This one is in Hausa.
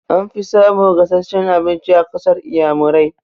An fi samun gasasshen abinci a ƙasar inƴamurai.